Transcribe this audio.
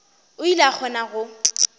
o ile a kgona go